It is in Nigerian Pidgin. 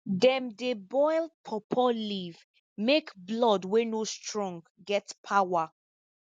dem dey boil pawpaw leaf make blood wey no strong get power